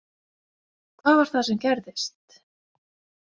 Hvað var það sem gerðist?